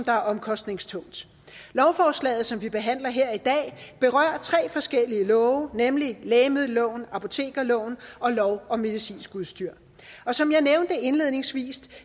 er omkostningstungt lovforslaget som vi behandler her i dag berører tre forskellige love nemlig lægemiddelloven apotekerloven og lov om medicinsk udstyr og som jeg nævnte indledningsvis